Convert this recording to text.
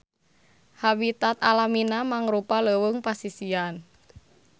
Habitat alamina mangrupa leuweung pasisian.